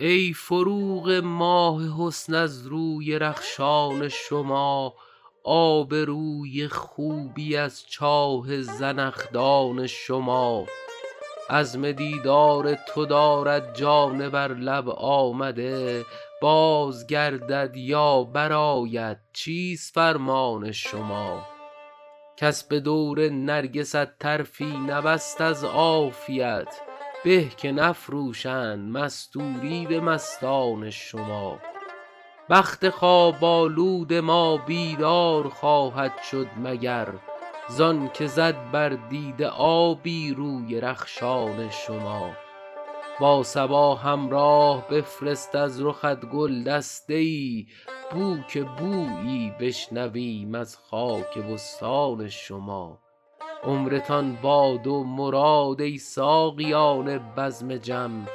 ای فروغ ماه حسن از روی رخشان شما آب روی خوبی از چاه زنخدان شما عزم دیدار تو دارد جان بر لب آمده باز گردد یا برآید چیست فرمان شما کس به دور نرگست طرفی نبست از عافیت به که نفروشند مستوری به مستان شما بخت خواب آلود ما بیدار خواهد شد مگر زان که زد بر دیده آبی روی رخشان شما با صبا همراه بفرست از رخت گل دسته ای بو که بویی بشنویم از خاک بستان شما عمرتان باد و مراد ای ساقیان بزم جم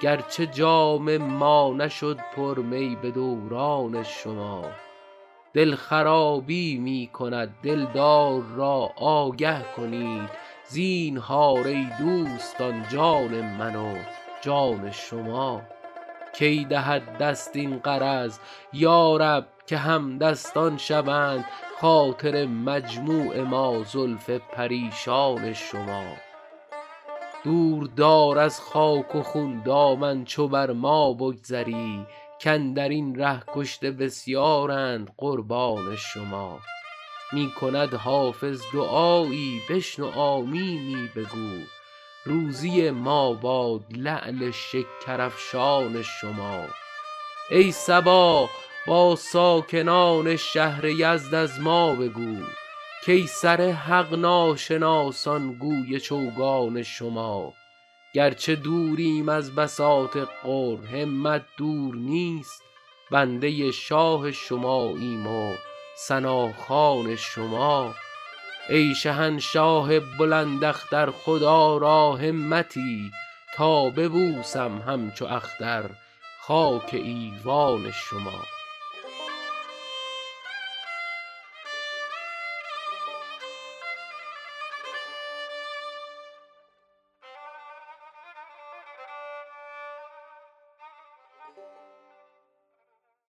گرچه جام ما نشد پر می به دوران شما دل خرابی می کند دلدار را آگه کنید زینهار ای دوستان جان من و جان شما کی دهد دست این غرض یا رب که همدستان شوند خاطر مجموع ما زلف پریشان شما دور دار از خاک و خون دامن چو بر ما بگذری کاندر این ره کشته بسیارند قربان شما می کند حافظ دعایی بشنو آمینی بگو روزی ما باد لعل شکرافشان شما ای صبا با ساکنان شهر یزد از ما بگو کای سر حق ناشناسان گوی چوگان شما گرچه دوریم از بساط قرب همت دور نیست بنده شاه شماییم و ثناخوان شما ای شهنشاه بلند اختر خدا را همتی تا ببوسم همچو اختر خاک ایوان شما